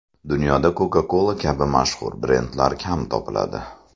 Dunyoda Coca-Cola kabi mashhur brendlar kam topiladi.